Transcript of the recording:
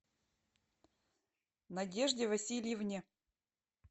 надежде васильевне